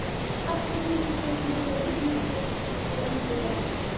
Þær eru auglýstar á nauðungaruppboði í Lögbirtingablaðinu í dag!